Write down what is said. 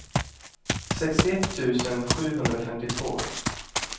sextioett tusen sjuhundrafemtiotvå